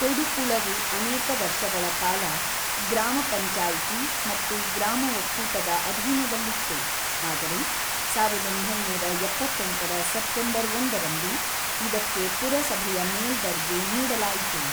ತೊಡುಪುಳವು ಅನೇಕ ವರ್ಷಗಳ ಕಾಲ ಗ್ರಾಮ ಪಂಚಾಯತಿ ಮತ್ತು ಗ್ರಾಮ ಒಕ್ಕೂಟದ ಅಧೀನದಲ್ಲಿತ್ತು, ಆದರೆ ಸಾವಿರದ ಒಂಬೈನೂರ ಎಪ್ಪತೆಂಟರ ಸೆಪ್ಟೆಂಬರ್ ಒಂದರಂದು ಇದಕ್ಕೆ ಪುರಸಭೆಯ ಮೇಲ್ದರ್ಜೆ ನೀಡಲಾಯಿತು.